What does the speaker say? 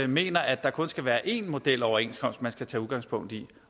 mener at der kun skal være én modeloverenskomst man skal tage udgangspunkt i